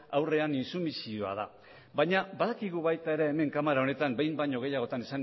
aurrean intsumisioa da baina badakigu baita ere hemen kamara honetan behin baino gehiagotan